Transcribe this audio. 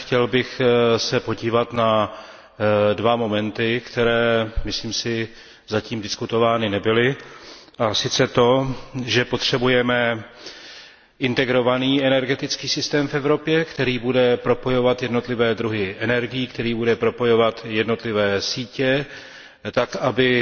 Chtěl bych se podívat na dva momenty, které, myslím si, zatím diskutovány nebyly, a sice to, že potřebujeme integrovaný energetický systém v Evropě, který bude propojovat jednotlivé druhy energií, který bude propojovat jednotlivé sítě tak, aby